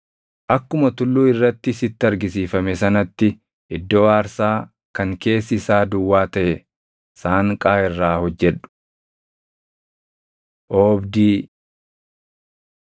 Akkuma tulluu irratti sitti argisiifame sanatti iddoo aarsaa kan keessi isaa duwwaa taʼe saanqaa irraa hojjedhu. Oobdii 27:9‑19 kwf – Bau 38:9‑20